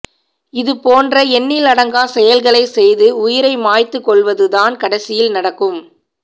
இது போன்ற எண்ணிலடங்கா செயல்களை செய்து உயிரை மாய்த்து கொள்வது தான் கடைசியில் நடக்கும்